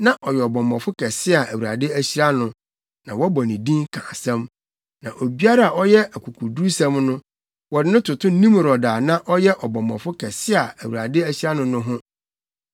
Na ɔyɛ ɔbɔmmɔfo kɛse a Awurade ahyira no, na wɔbɔ ne din ka asɛm. Na obiara a ɔyɛ akokodurusɛm no, wɔde no toto Nimrod a na ɔyɛ ɔbɔmmɔfo kɛse a Awurade ahyira no no ho.